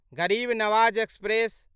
गरीब नवाज एक्सप्रेस